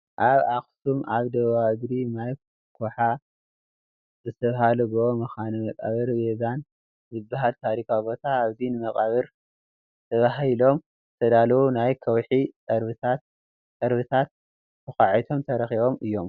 ኣብ ኣኽሱም ኣብ ደቡባዊ እግሪ ማይ ኩሖ ዝተባህለ ጎቦ መካነ መቃብር ባዜን ዝብሃል ታሪካዊ ቦታ፡፡ ኣብዚ ንመቓብር ተባሂሎም ዝተዳለው ናይ ከውሒ ፅርበታት ተዃዒቶም ተረኺቦም እዮም፡፡